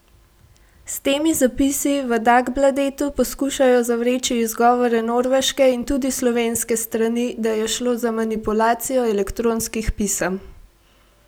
S temi zapisi v Dagbladetu poskušajo zavreči izgovore norveške in tudi slovenske strani, da je šlo za manipulacijo elektronskih pisem.